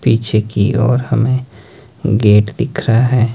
पीछे की ओर हमें गेट दिख रहा है।